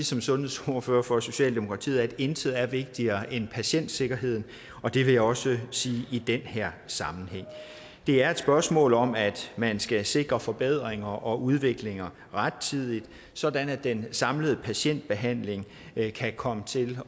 som sundhedsordfører for socialdemokratiet at intet er vigtigere end patientsikkerheden og det vil jeg også sige i den her sammenhæng det er et spørgsmål om at man skal sikre forbedringer og udvikling rettidigt sådan at den samlede patientbehandling kan komme til